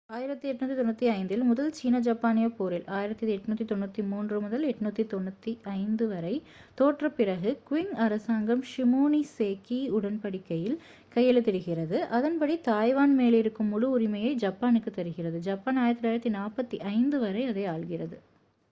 1895 ல் முதல் சீன- ஜப்பானிய போரில் 1894-1895 தோற்ற பிறகு க்விங் அரசாங்கம் ஷிமோனோசேக்கி உடன்படிக்கையில் கையெழுத்திடுகிறது அதன்படி தாய்வான் மேலிருக்கும் முழு உரிமையை ஜப்பானுக்கு தருகிறது ஜப்பான் 1945 வரை அதை ஆள்கிறது